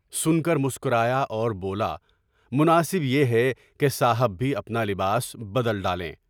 سن کر مسکرایا اور بولا "مناسب ہے کہ صاحب بھی اپنا لباس بدل ڈالیں۔"